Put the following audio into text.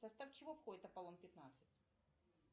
в состав чего входит аполлон пятнадцать